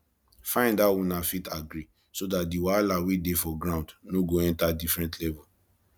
find how una fit agree so dat di wahala wey dey for ground no go enter different level